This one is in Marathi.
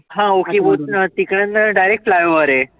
हा तिकडनं direct flyover आहे.